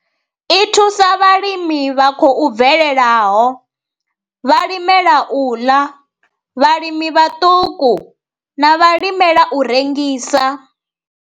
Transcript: I thusa vhalimi vha khou bvelelaho, vhalimela u ḽa, vhalimi vhaṱuku na vhalimela u rengisa.